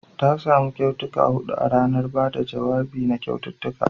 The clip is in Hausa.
Ta samu kyautuka hudu a ranar ba da jawabi da kyaututtuka